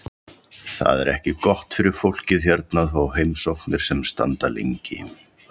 Það er ekki gott fyrir fólkið hérna að fá heimsóknir sem standa lengi.